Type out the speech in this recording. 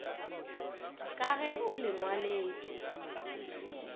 ka ge o le ngwaletšwe